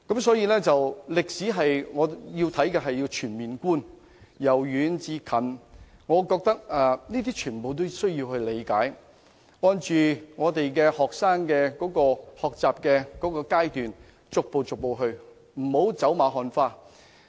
所以，我認為學習歷史應該作全面觀，由遠至近，全部歷史事件均需要理解，並按學生的學習階段逐步教授，不能走馬看花。